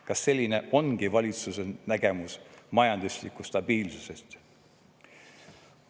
Kas selline ongi valitsuse nägemus majanduslikust stabiilsusest?